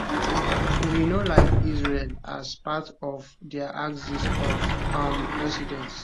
wey no like israel as part of dia axis of um resistance